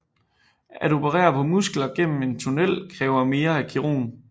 At operere på muskler gennem en tunnel kræver mere af kirurgen